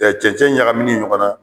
cɛncɛn ɲagamini ɲɔgɔn na